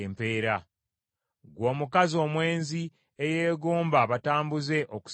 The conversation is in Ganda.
“ ‘Ggwe omukazi omwenzi eyeegomba abatambuze okusinga balo!